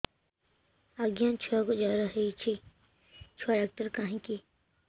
ଆଜ୍ଞା ଛୁଆକୁ ଜର ହେଇଚି ଛୁଆ ଡାକ୍ତର କାହିଁ କି